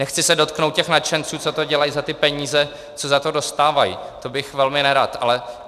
Nechci se dotknout těch nadšenců, co to dělají za ty peníze, co za to dostávají, to bych velmi nerad.